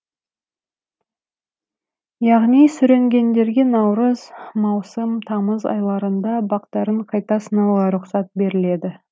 яғни сүрінгендерге наурыз маусым тамыз айларында бақтарын қайта сынауға рұқсат беріледі